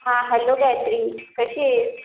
हा हॅलो गायत्री, कशी आहेस?